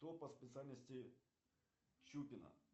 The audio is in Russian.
кто по специальности чупина